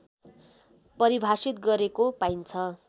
परिभाषित गरेको पाइन्छ